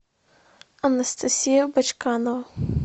анастасия бочканова